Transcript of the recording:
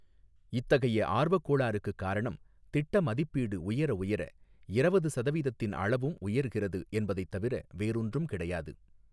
இத்தகைய ஆர்வக் கோளாறுக்கு காரணம் திட்ட மதிப்பீடு உயர உயர இரவது சதவீதத்தின் அளவும் உயர்கிறது என்பதைத் தவிர வேறொன்றும் கிடையாது.